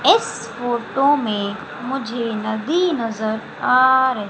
इस फोटो में मुझे नदी नजर आ रही--